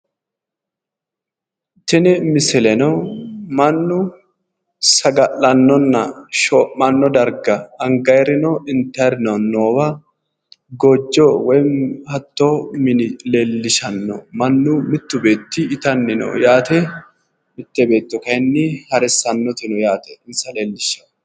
Tini misileno mannu saga'lannonna shoo'manno darga angayirino intayirino noowa goojjo woyi hattoo mini leellishanno. Mannu mittu beetti itanni no yaate. Mitte beetto kayinni harissannoti no yaate. Insa leellishshanno.